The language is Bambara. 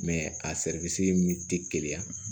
a min te keleya